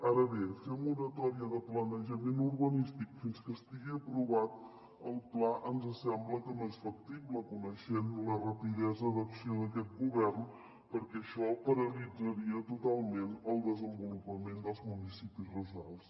ara bé fer moratòria de planejament urbanístic fins que estigui aprovat el pla ens sembla que no és factible coneixent la rapidesa d’acció d’aquest govern perquè això paralitzaria totalment el desenvolupament dels municipis rurals